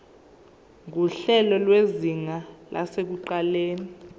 nguhlelo lwezinga lasekuqaleni